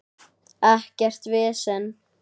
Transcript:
Ekkert vesen.